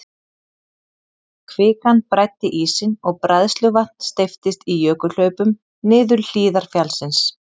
Kvikan bræddi ísinn og bræðsluvatn steyptist í jökulhlaupum niður hlíðar fjallsins.